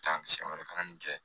Taa san wɛrɛ fana min kɛ